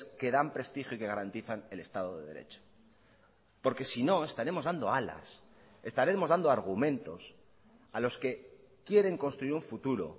que dan prestigio y que garantizan el estado de derecho porque sino estaremos dando alas estaremos dando argumentos a los que quieren construir un futuro